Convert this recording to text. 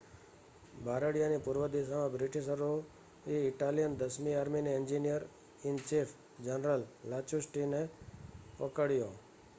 બારડિયાની પૂર્વ દિશામાં બ્રિટિશરોએ ઇટાલિયન દસમી આર્મીનાં એન્જિનિયર-ઇન-ચીફ જનરલ લાસ્ટુચીને પકડ્યો